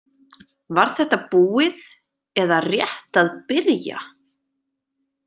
Var þetta búið eða rétt að byrja?